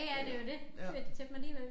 Ja ja det jo det til til dem alligevel